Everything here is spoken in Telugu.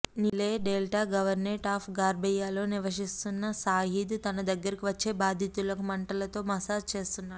నీలే డెల్టా గవర్నేట్ ఆప్ ఘార్బేయాలో నివసిస్తున్న సయీద్ తన దగ్గరకు వచ్చే బాధితులకు మంటలతో మసాజ్ చేస్తున్నాడు